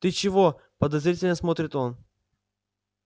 ты чего подозрительно смотрит он